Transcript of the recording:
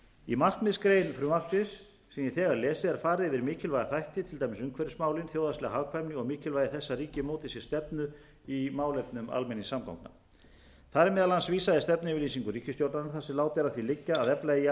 í markmiðsgrein frumvarpsins sem ég hef þegar lesið er farið yfir mikilvæga þætti til dæmis umhverfismálin þjóðhagslega hagkvæmni og mikilvægi þess að ríkið móti sér stefnu í málefnum almenningssamgangna þar er meðal annars vísað í stefnuyfirlýsingu ríkisstjórnarinnar þar sem látið er að því liggja að efla eigi